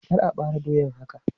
Kar a bare doyan haka!